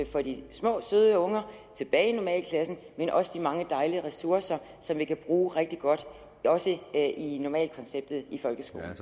få de små søde unger tilbage i normalklassen men også de mange dejlige ressourcer som vi kan bruge rigtig godt også i normalkonceptet i folkeskolen